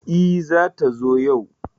E, zata zo yau?